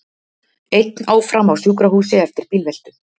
Einn áfram á sjúkrahúsi eftir bílveltu